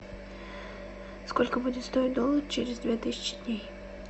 сколько будет стоить доллар через две тысячи дней